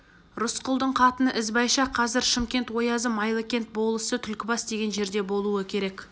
рысқұлдың қатыны ізбайша қазір шымкент оязы майлыкент болысы түлкібас деген жерде болуы керек